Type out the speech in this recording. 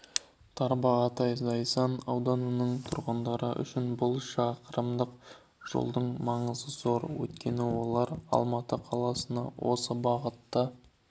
тарбағатай зайсан ауданының тұрғындары үшін бұл шақырымдық жолдың маңызы зор өйткені олар алматы қаласына осы бағыт